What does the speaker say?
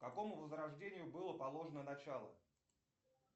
какому возрождению было положено начало